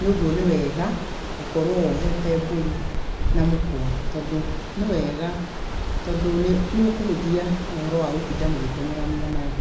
Nĩ ũguo nĩ wega gũkorũo wohete mbũri na mũkwa. Tondũ nĩ wega, tondũ nĩ ũkũhũthia ũhoro wa gũtinda mũgĩtengerania nayo.